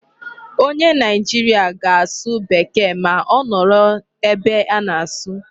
Onye Nigeria ga-asụ Bekee ma ọ nọrọ ebe a na-asụ.